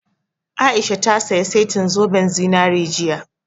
A'isha ta saya setin zoben zinari jiya